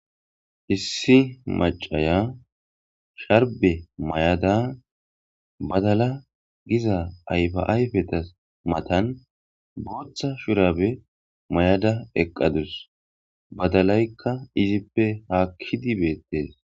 issi macaya sharbe mayada badala giza ayfaayfetas matan booththa shurabe may7ada eqqadus badalaykka izippe haakkidi beettees